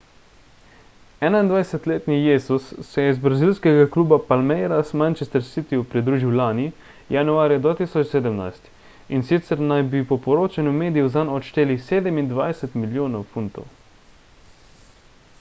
21-letni jesus se je iz brazilskega kluba palmeiras manchester city-ju pridružil lani januarja 2017 in sicer naj bi po poročanju medijev zanj odšteli 27 milijonov funtov